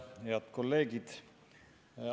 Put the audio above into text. Head kolleegid!